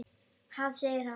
Ha? segir hann.